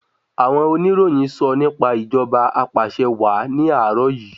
Àwọn oníròyìn sọ nípa ìjọba apàṣẹwàá ní àárò yìí.